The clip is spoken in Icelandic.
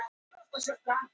Þrýstingur í iðrum jarðar